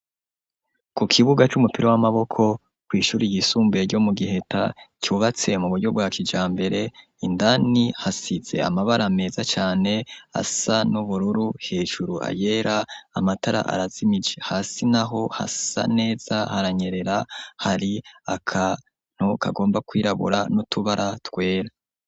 Ku kibuga c'umupira w'amaboko kwi'shuri y'isumbuye ryo mu Giheta ryubatse mu buryo bwa kijambere indani hasize amabara meza cane asa n'ubururu hejuru ayera amatara arazimije hasi naho hasa neza haranyerera hari akantu kagomba kwirabura nutubara twera.